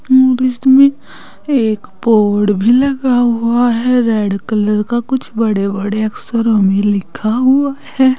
में एक बोर्ड भी लगा हुआ है रेड कलर का कुछ बड़े बड़े अक्षरों में लिखा हुआ है।